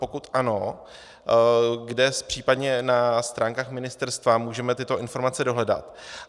Pokud ano, kde případně na stránkách ministerstva můžeme tyto informace dohledat?